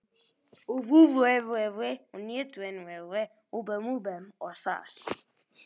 En hvað kom svo síðar á daginn?